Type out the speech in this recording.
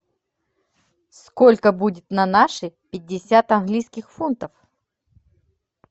сколько будет на наши пятьдесят английских фунтов